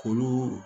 K'olu